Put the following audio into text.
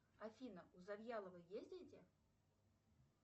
афина у завьялова есть дети